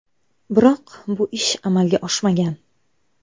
Biroq bu ish amalga oshmagan.